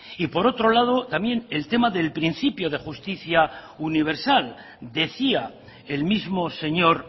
y por otro lado también el tema de principio de justicia universal decía el mismo señor